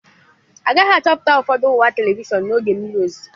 Agaghị achọpụta ụfọdụ ọwa telivishọn n'oge mmiri ozuzo.